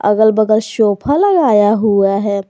अगल बगल सोफा लगाया हुआ है।